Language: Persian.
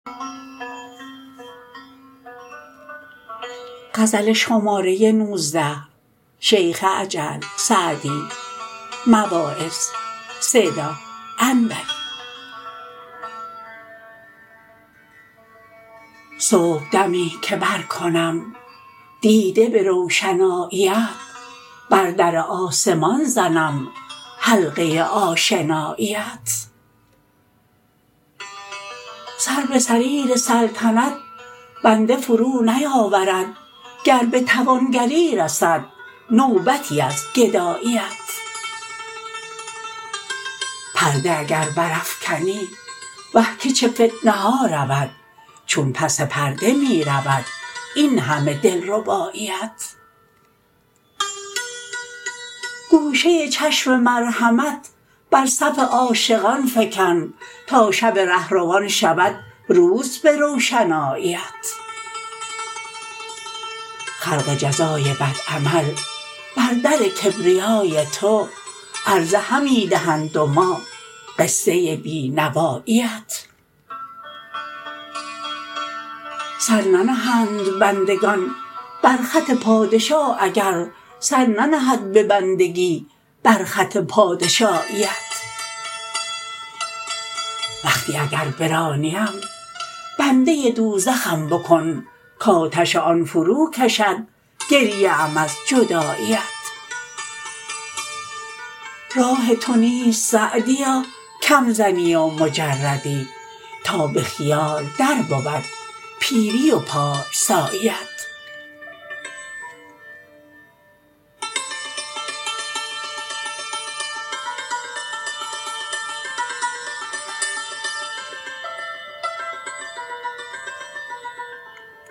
صبحدمی که برکنم دیده به روشناییت بر در آسمان زنم حلقه آشناییت سر به سریر سلطنت بنده فرو نیاورد گر به توانگری رسد نوبتی از گداییت پرده اگر برافکنی وه که چه فتنه ها رود چون پس پرده می رود این همه دلرباییت گوشه چشم مرحمت بر صف عاشقان فکن تا شب رهروان شود روز به روشناییت خلق جزای بد عمل بر در کبریای تو عرضه همی دهند و ما قصه بی نواییت سر ننهند بندگان بر خط پادشاه اگر سر ننهد به بندگی بر خط پادشاییت وقتی اگر برانیم بنده دوزخم بکن کآتش آن فرو کشد گریه ام از جداییت راه تو نیست سعدیا کم زنی و مجردی تا به خیال در بود پیری و پارساییت